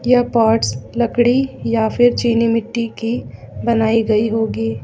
यह पार्ट्स लकड़ी या चीनी मिट्टी की बनाई गई होगी।